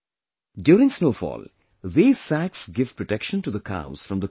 During snowfall, these sacks give protection to the cows from the cold